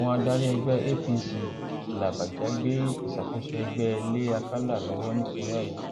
àwọn adarí ẹgbẹ apc làbàjá gbé ìṣàkóso ẹgbẹ lé àkàlà lọwọ nípínlẹ ọyọ